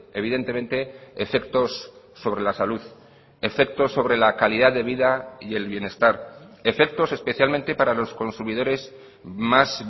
evidentemente efectos sobre la salud efectos sobre la calidad de vida y el bienestar efectos especialmente para los consumidores más